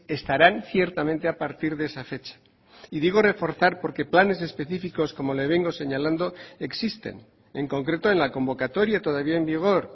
estarán ciertamente a partir de esa fecha y digo reforzar porque planes específicos como le vengo señalando existen en concreto en la convocatoria todavía en vigor